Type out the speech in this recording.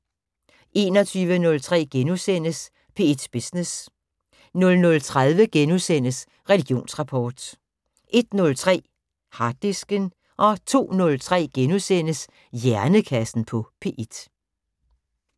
21:03: P1 Business * 00:30: Religionsrapport * 01:03: Harddisken 02:03: Hjernekassen på P1 *